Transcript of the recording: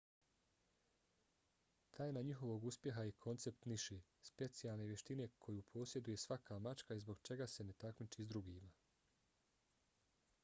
tajna njihovog uspjeha je koncept niše specijalne vještine koju posjeduje svaka mačka i zbog čega se ne takmiči s drugima